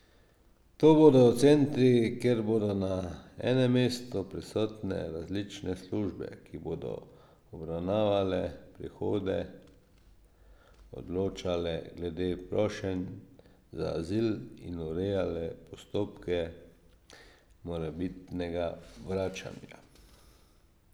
To bodo centri, kjer bodo na enem mestu prisotne različne službe, ki bodo obravnavale prihode, odločale glede prošenj za azil in urejale postopke morebitnega vračanja.